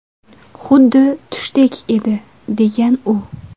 Xuddi tushdek edi”, degan u.